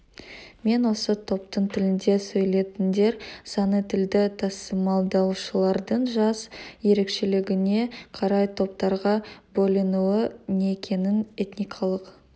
мен осы топтың тілінде сөйлейтіндер саны тілді тасымалдаушылардың жас ерекшелігіне қарай топтарға бөлінуі некенің этникалық